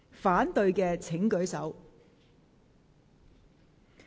反對的請舉手。